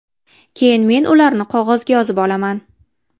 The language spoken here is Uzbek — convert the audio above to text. Keyin men ularni qog‘ozga yozib olaman.